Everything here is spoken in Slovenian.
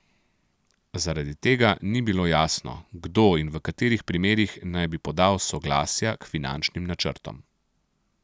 Zaradi tega ni bilo jasno, kdo in v katerih primerih naj bi podal soglasja k finančnim načrtom.